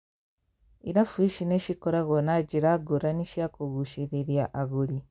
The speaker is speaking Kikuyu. Irabu ici nĩcikoragwo na njĩra ngũrani cia kũgucĩrĩria agũri.